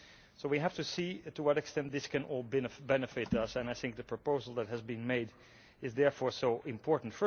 So we have to see to what extent this can all benefit us, and I think the proposal that has been made is therefore so important.